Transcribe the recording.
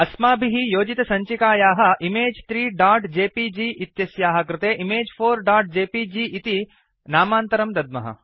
अस्माभिः योजितसञ्चिकायाः इमेज 3जेपीजी इत्यस्याः कृते image4जेपीजी इति नामान्तरं दद्मः